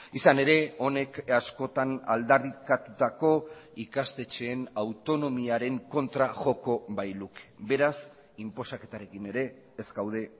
izan ere honek askotan aldarrikatutako ikastetxeen autonomiaren kontra joko bailuke beraz inposaketarekin ere ez gaude